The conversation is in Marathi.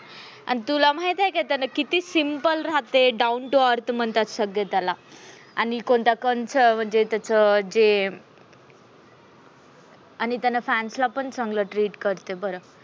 अन तुला माहित आहे का? किती simple राहते. त्याला down to earth म्हणतात. सगळे त्याला, आणि कोणता कंच एवजे म्हणजे, त्याच जे आणि fans ला पण चांगल treat करते बर.